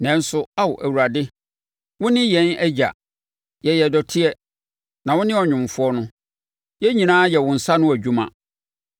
Nanso, Ao Awurade, wo ne yɛn Agya. Yɛyɛ dɔteɛ, na wo ne ɔnwomfoɔ no; yɛn nyinaa yɛ wo nsa ano adwuma.